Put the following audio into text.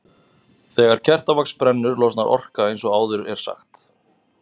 Þegar kertavax brennur losnar orka eins og áður er sagt.